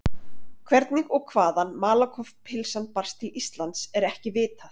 Hvernig og hvaðan Malakoff-pylsan barst til Íslands er ekki vitað.